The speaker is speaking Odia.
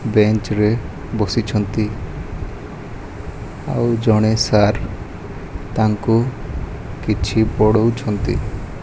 ବେଞ୍ଚ ରେ ବସିଛନ୍ତି ଆଉ ଜଣେ ସାର୍ ତାଙ୍କୁ କିଛି ପଢ଼ଉଛନ୍ତି।